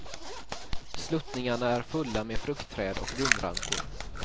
Sluttningarna är fulla med fruktträd och vinrankor.